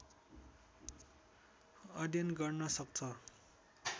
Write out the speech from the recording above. अध्ययन गर्न सक्छ